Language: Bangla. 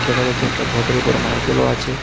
দেখা যাচ্ছে একটা ঘটের উপরে নারকেলও আছে।